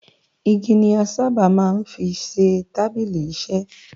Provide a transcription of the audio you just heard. Igi ni a sáábà máa ń fi ṣe tábìlì-iṣẹ.